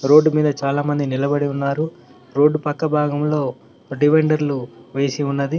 Road మీద చాలామంది నిలబడి ఉన్నారు రోడ్డు పక్క భాగంలో డివైడర్లు వేసి ఉన్నది.